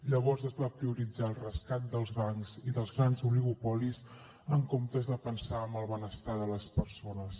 llavors es va prioritzar el rescat dels bancs i dels grans oligopolis en comptes de pensar en el benestar de les persones